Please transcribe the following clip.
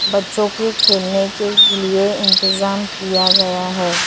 बच्चों के खेलने के लिए इंतजाम किया गया है।